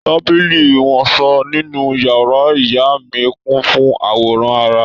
Tábìlì iwọsọ nínú yàrá ìyá mí kun fun àwọ̀rán ara